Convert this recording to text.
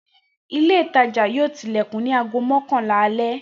Ile itaja yoo tilekun ni aago mọkanla ni ale